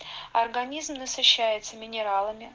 организм насыщается минералами